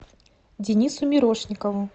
денису мирошникову